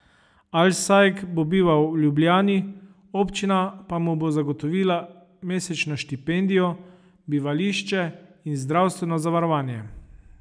Alsajg bo bival v Ljubljani, občina pa mu bo zagotovila mesečno štipendijo, bivališče in zdravstveno zavarovanje.